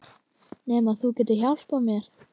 Nema þú getir hjálpað mér